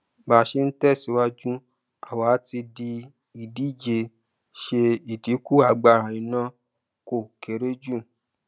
bá ṣe ń tẹsíwájú àwa ti dì ìdíje ṣe ìdínkù agbára iná kó kéré jù